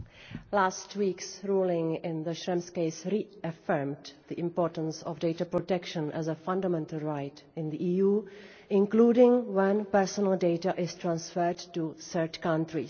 Last week's ruling in the Schrems case reaffirmed the importance of data protection as a fundamental right in the EU, including when personal data is transferred to third countries.